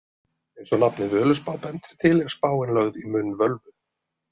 Eins og nafnið Völuspá bendir til er spáin lögð í munn völvu.